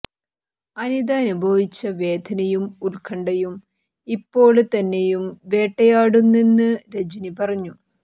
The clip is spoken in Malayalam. അനിത അനുഭവിച്ച വേദനയും ഉത്ക്കണ്ഠയും ഇപ്പോള് തന്നെയും വേട്ടയാടുന്നെന്ന് രജനി പറഞ്ഞു